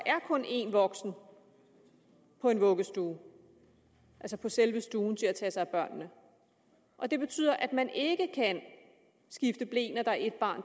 kun er én voksen på en vuggestue altså på selve stuen til at tage sig af børnene og det betyder at man ikke kan skifte ble når der er ét barn